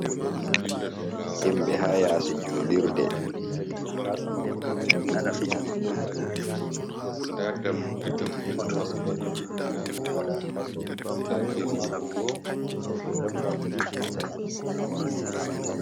Himɓɓe ha yasi julurde.